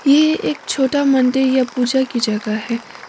ये एक छोटा मंदिर या पूजा की जगह है।